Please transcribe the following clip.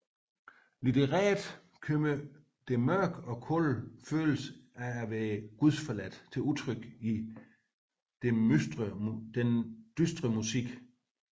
Litterært kommer den mørke og kolde følelse af at være gudsforladt til udtryk i den dystre musik